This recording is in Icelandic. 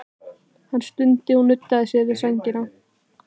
Hann stundi og nuddaði sér við sængina.